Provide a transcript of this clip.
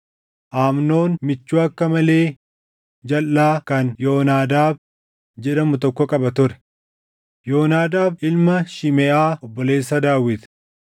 Amnoon michuu akka malee jalʼaa kan Yoonaadaab jedhamu tokko qaba ture; Yoonaadaab ilma Shimeʼaa obboleessa Daawit.